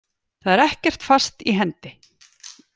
Það er ekkert fast í hendi.